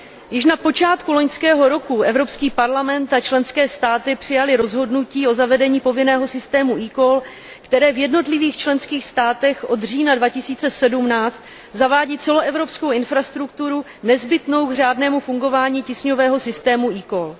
Již na počátku loňského roku Evropský parlament a členské státy přijaly rozhodnutí o zavedení povinného systému eCall, které v jednotlivých členských státech od října 2017 zavádí celoevropskou infrastrukturu nezbytnou k řádnému fungování tísňového systému eCall.